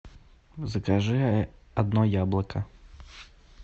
закажи одно яблоко